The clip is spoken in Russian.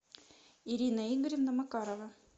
ирина игоревна макарова